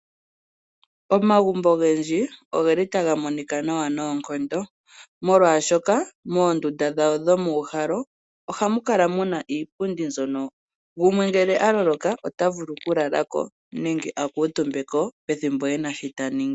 Omagumbo ogendji ogeli taga monika nawa noonkondo ,molwaashoka moondunda dhawo dhokuuhala ohamu kala muna iipundi mbyono gumwe ngele avulwa nenge akuutumbeko eno shoka taningi.